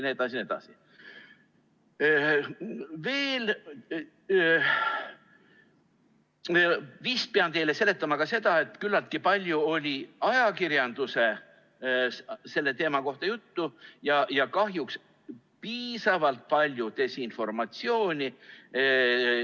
Veel pean teile vist seletama seda, et küllaltki palju oli ajakirjanduses sellest teemast juttu ja kahjuks on piisavalt palju olnud desinformatsiooni.